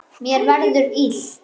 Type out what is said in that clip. Mér verður illt.